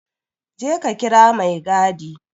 Je ka kira maigadi!